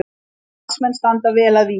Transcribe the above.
Valsmenn standa vel að vígi